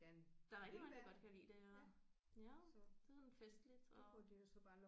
Der er rigtig mange der godt kan lide det ja ja det er sådan festligt og